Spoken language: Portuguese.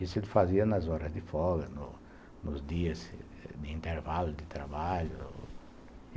Isso ele fazia nas horas de folga, no, nos dias de intervalo de trabalho.